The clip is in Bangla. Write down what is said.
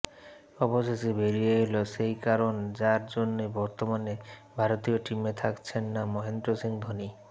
অবশেষে বেরিয়ে এলো সেই কারণ যার জন্যই বর্তমানে ভারতীয় টিমে থাকছেন না মহেন্দ্র সিং ধোনি